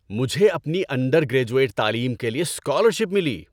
مجھے اپنی undergraduate تعلیم کے لیے اسکالرشپ ملی۔